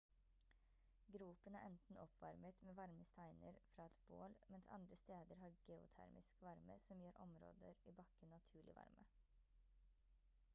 gropen er enten oppvarmet med varme steiner fra et bål mens andre steder har geotermisk varme som gjør områder i bakken naturlig varme